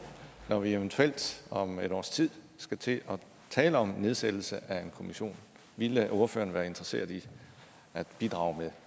når vi eventuelt om et års tid skal til at tale om nedsættelse af en kommission ville ordføreren være interesseret i at bidrage med